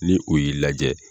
Ni u y'i lajɛ.